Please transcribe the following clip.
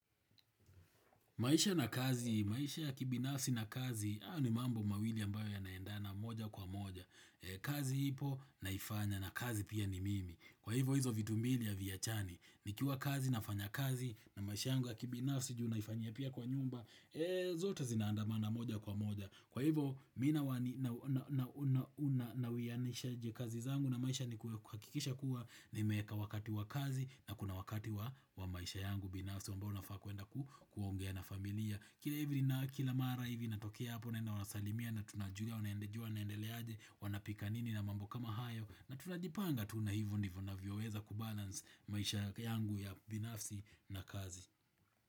Maisha na kazi, maisha ya kibinafsi na kazi, haya ni mambo mawili ambayo yanaendana moja kwa moja. Kazi ipo naifanya na kazi pia ni mimi. Kwa hivo hizo vitu mbili haviachani, nikiwa kazi nafanya kazi na maisha yangu ya kibinafsi ju naifanya pia kwa nyumba, zote zinaandamana moja kwa moja. Kwa hivo mimi na wani nawiyanisha je kazi zangu na maisha ni kuakikisha kuwa nimeeka wakati wa kazi na kuna wakati wa maisha yangu. Binafsi ambao unafaa kuenda kuongea na familia Kila hivi na kila mara hivi natokea hapo naenda wanasalimia na tunajulia wanaendeleaje naendele aje wanapika nini na mambo kama hayo na tunajipanga tu na hivyo ndivuo navyoweza Kubalance maisha yangu ya binafsi na kazi.